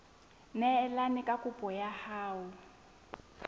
neelane ka kopo ya hao